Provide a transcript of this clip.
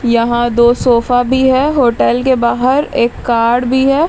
यहां दो सोफा भी ह होटल के बाहर एक कार्ड भी है.